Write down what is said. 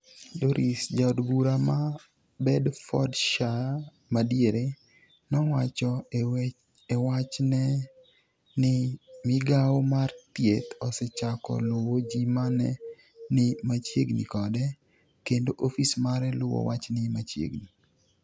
Dorries, Jaod bura ma Bedfordshire madiere, nowacho e wachne ni migao mar Thieth osechako luwo ji ma ne ni machiegni kode, kendo ofis mare luwo wachni machiegni.